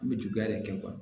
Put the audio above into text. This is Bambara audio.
An bɛ juguya de kɛ